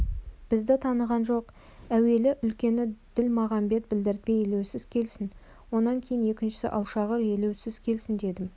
бізді таныған жоқ әуелі үлкені ділмағамбет білдіртпей елеусіз келсін онан кейін екіншісі алшағыр елеусіз келсін дедім